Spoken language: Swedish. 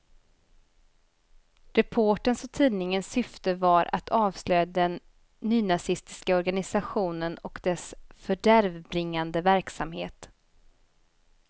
Reporterns och tidningens syfte var att avslöja den nynazistiska organisationen och dess fördärvbringande verksamhet.